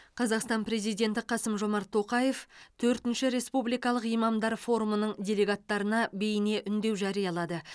қазақстан президенті қасым жомарт тоқаев төртінші республикалық имамдар форумының делегаттарына бейне үндеу жариялады